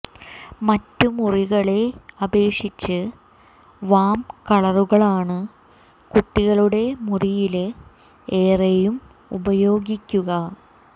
മറ്റു മുറികളെ അപേക്ഷിച്ച് വാം കളറുകളാണ് കുട്ടികളുടെ മുറിയില് ഏറെയും ഉപയോഗിക്കുക